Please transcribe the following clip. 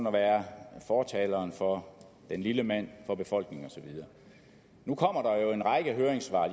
at være fortaleren for den lille mand for befolkningen osv og nu kommer der en række høringssvar